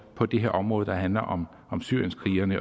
på det her område der handler om syrienskrigerne